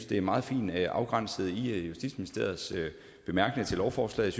det er meget fint afgrænset i justitsministeriets bemærkninger til lovforslaget